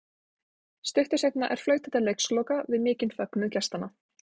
Stuttu seinna er flautað til leiksloka við mikinn fögnuð gestanna.